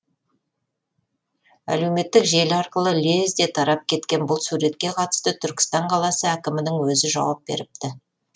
әлеуметтік желі арқылы лезде тарап кеткен бұл суретке қатысты түркістан қаласы әкімінің өзі жауап беріпті